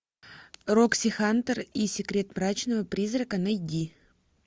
рокси хантер и секрет мрачного призрака найди